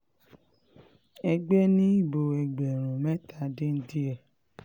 ẹgbẹ́ ni ìbò ẹgbẹ̀rún mẹ́ta dín díẹ̀